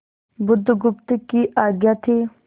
बुधगुप्त की आज्ञा थी